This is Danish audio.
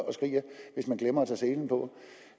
og skriger hvis man glemmer at tage selen på